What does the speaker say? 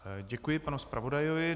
Děkuji panu zpravodaji.